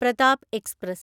Pratap express